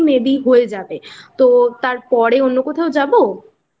হয়ে যাবে তারপরে অন্য কোথাও যাবো?